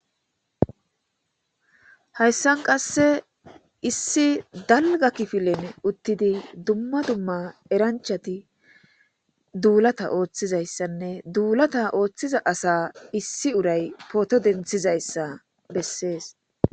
Hayssan qasse issi dalga kifilen uttidi dumma dumma eranchati duulata ooththizayssanne duulata ooththiza asa issi uray poto denthizayssa bessees